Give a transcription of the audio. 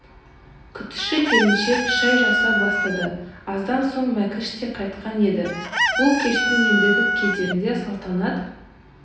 күтуші келншек шай жасай бастады аздан соң мәкіш те қайтқан еді бұл кештің ендігі кездерінде салтанат